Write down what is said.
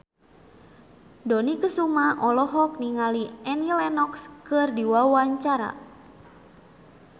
Dony Kesuma olohok ningali Annie Lenox keur diwawancara